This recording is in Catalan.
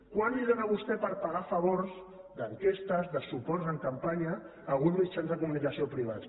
quant els dóna vostè per pagar favors d’enquestes de suports en campanya a alguns mitjans de comunicació privats